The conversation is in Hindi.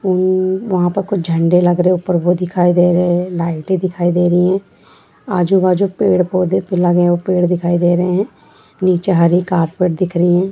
उम्म वहां पर कुछ झंडे लग रहे है ऊपर वो दिखाई दे रहे है लाइटें दिखाई दे रही है आजू-बाजू पेड़-पौधे लगे हुए पेड़ दिखाई दे रहे है नीचे हरी कारपेट दिख रही है।